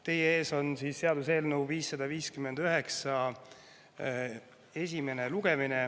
Teie ees on seaduseelnõu 559, algab selle esimene lugemine.